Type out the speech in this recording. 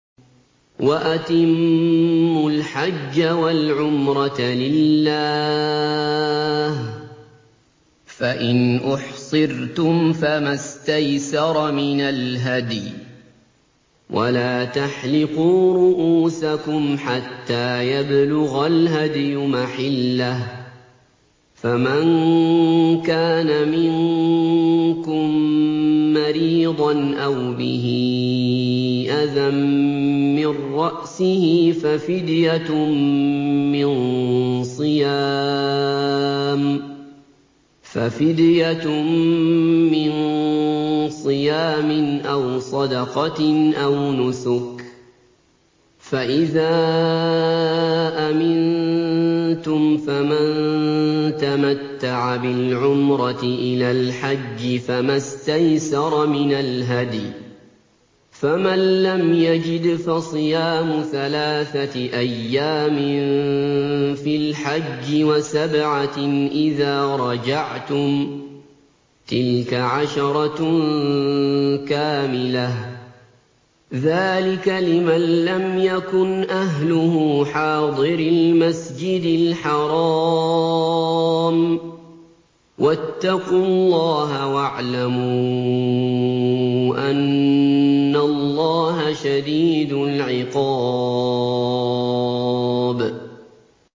وَأَتِمُّوا الْحَجَّ وَالْعُمْرَةَ لِلَّهِ ۚ فَإِنْ أُحْصِرْتُمْ فَمَا اسْتَيْسَرَ مِنَ الْهَدْيِ ۖ وَلَا تَحْلِقُوا رُءُوسَكُمْ حَتَّىٰ يَبْلُغَ الْهَدْيُ مَحِلَّهُ ۚ فَمَن كَانَ مِنكُم مَّرِيضًا أَوْ بِهِ أَذًى مِّن رَّأْسِهِ فَفِدْيَةٌ مِّن صِيَامٍ أَوْ صَدَقَةٍ أَوْ نُسُكٍ ۚ فَإِذَا أَمِنتُمْ فَمَن تَمَتَّعَ بِالْعُمْرَةِ إِلَى الْحَجِّ فَمَا اسْتَيْسَرَ مِنَ الْهَدْيِ ۚ فَمَن لَّمْ يَجِدْ فَصِيَامُ ثَلَاثَةِ أَيَّامٍ فِي الْحَجِّ وَسَبْعَةٍ إِذَا رَجَعْتُمْ ۗ تِلْكَ عَشَرَةٌ كَامِلَةٌ ۗ ذَٰلِكَ لِمَن لَّمْ يَكُنْ أَهْلُهُ حَاضِرِي الْمَسْجِدِ الْحَرَامِ ۚ وَاتَّقُوا اللَّهَ وَاعْلَمُوا أَنَّ اللَّهَ شَدِيدُ الْعِقَابِ